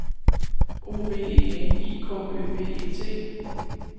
O V E N I K Ø B E T